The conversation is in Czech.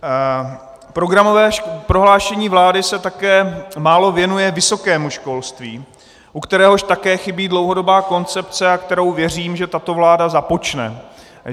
Programové prohlášení vlády se také málo věnuje vysokému školství, u kteréhož také chybí dlouhodobá koncepce, a kterou věřím, že tato vláda započne.